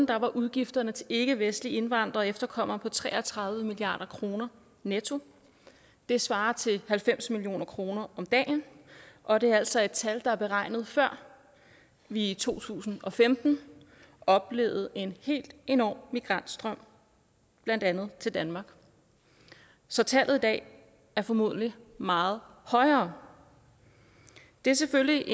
var udgifterne til ikkevestlige indvandrere og efterkommere på tre og tredive milliard kroner netto det svarer til halvfems million kroner om dagen og det er altså et tal der er beregnet før vi i to tusind og femten oplevede en helt enorm migrantstrøm blandt andet til danmark så tallet i dag er formodentlig meget højere det er selvfølgelig